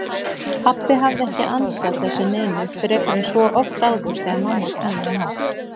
Pabbi hafði ekki ansað þessu neinu, frekar en svo oft áður þegar mamma talaði hátt.